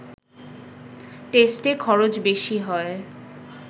টেস্টে খরচ বেশি হয়